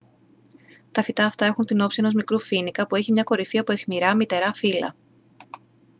τα φυτά αυτά έχουν την όψη ενός μικρού φοίνικα που έχειμια κορυφή από αιχμηρά μυτερά φύλλα